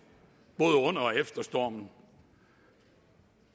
både under og efter stormen